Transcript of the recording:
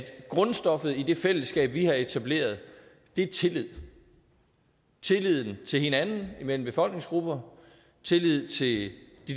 grundstoffet i det fællesskab vi har etableret er tillid tillid til hinanden imellem befolkningsgrupper tillid til de